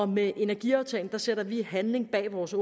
med energiaftalen sætter vi handling bag vores